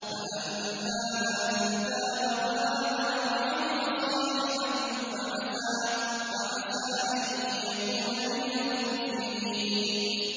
فَأَمَّا مَن تَابَ وَآمَنَ وَعَمِلَ صَالِحًا فَعَسَىٰ أَن يَكُونَ مِنَ الْمُفْلِحِينَ